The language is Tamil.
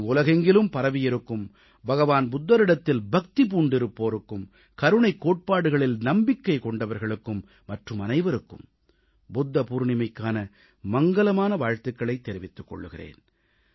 நான் உலகெங்கிலும் பரவியிருக்கும் புத்தபிரானிடத்தில் பக்தி பூண்டிருப்போருக்கும் கருணைக் கோட்பாடுகளில் நம்பிக்கை கொண்டவர்களுக்கும் மற்றுமனைவருக்கும் புத்த பவுர்ணமிக்கான மங்கலமான வாழ்த்துகளைத் தெரிவித்துக் கொள்கிறேன்